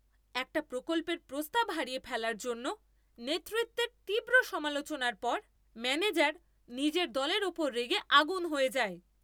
একটা প্রকল্পের প্রস্তাব হারিয়ে ফেলার জন্য নেতৃত্বের তীব্র সমালোচনার পর ম্যানেজার নিজের দলের ওপর রেগে আগুন হয়ে যায়!